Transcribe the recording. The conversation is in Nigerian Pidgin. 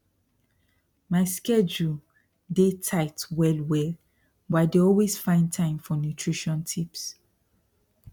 my schedule they dey tight well well but i dey always find time for nutrition tips